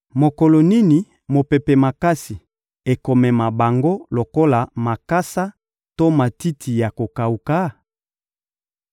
Mokolo nini mopepe makasi ekomema bango lokola makasa to matiti ya kokawuka?